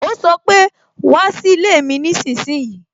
O sọ pé "wá sí ilé mi nísinsìnyí"